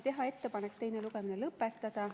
Teha ettepanek teine lugemine lõpetada.